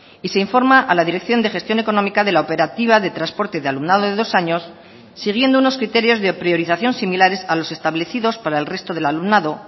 y se informa a la dirección de gestión económica de la operativa de transporte de alumnado de dos años siguiendo unos criterios de priorización similares a los establecidos para el resto del alumnado